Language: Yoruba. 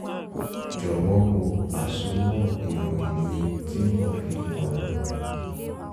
jọ̀wọ́ wo àsomọ́ ìròyìn mi tí mo fi kún un